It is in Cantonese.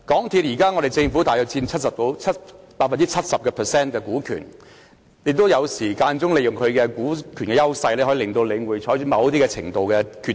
現時，政府大約佔港鐵公司 70% 股權，有時可以利用其股權的優勢，令領展採取某些決定。